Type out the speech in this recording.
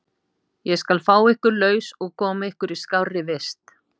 Ég skal fá ykkur laus og koma ykkur í skárri vist.